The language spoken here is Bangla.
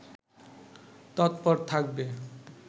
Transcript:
তৎপর থাকবে